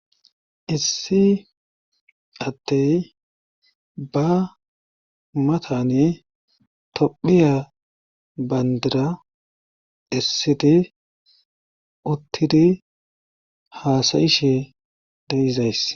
issi attey ba matane tophiya bandira issidi uttidi haasayishe deizays